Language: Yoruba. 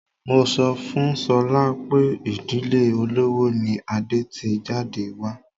Mo sọ fún Sola pé ìdílé olówó ni Adé ti jáde wá.